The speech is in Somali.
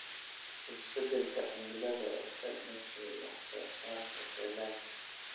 Isbeddelka cimilada ee ka dhashay wax soo saarka dalagga.